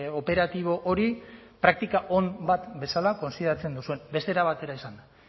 operatibo hori praktika on bat bezala kontsideratzen duzuen beste era batera esanda